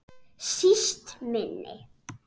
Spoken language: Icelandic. Síst minni.